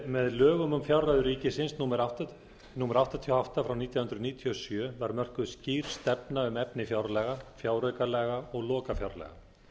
með lögum um fjárreiður ríkisins númer áttatíu og átta nítján hundruð níutíu og sjö var mörkuð skýr stefna um efni fjárlaga fjáraukalaga og lokafjárlaga